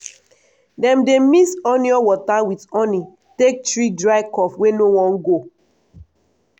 dem dey mix onion water with honi take treat dry cough wey no wan go.